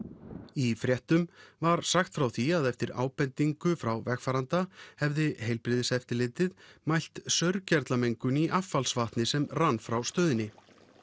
í fréttum var sagt frá því að eftir ábendingu frá vegfaranda hefði heilbrigðiseftirlitið mælt saurgerlamengun í affallsvatni sem rann frá stöðinni